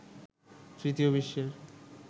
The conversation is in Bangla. তৃতীয় বিশ্বের